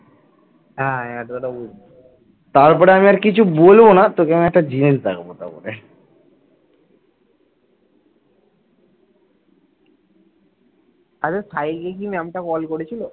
আচ্ছা সাহিলকে কি ma'am টা call করেছিল।